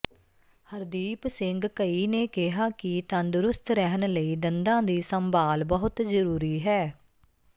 ਹਰਦੀਪ ਸਿੰਘ ਘਈ ਨੇ ਕਿਹਾ ਕਿ ਤੰਦਰੁਸਤ ਰਹਿਣ ਲਈ ਦੰਦਾ ਦੀ ਸੰਭਾਲ ਬਹੁਤ ਜਰੂਰੀ ਹੈ